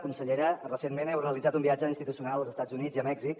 consellera recentment heu realitzat un viatge institucional als estats units i a mèxic